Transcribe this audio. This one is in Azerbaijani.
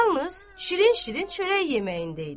Yalnız şirin-şirin çörək yeməyində idi.